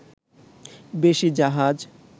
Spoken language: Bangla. বেশি জাহাজ